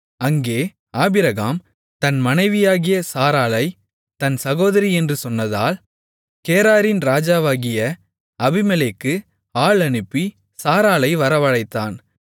அங்கே ஆபிரகாம் தன் மனைவியாகிய சாராளைத் தன் சகோதரி என்று சொன்னதால் கேராரின் ராஜாவாகிய அபிமெலேக்கு ஆள் அனுப்பி சாராளை வரவழைத்தான்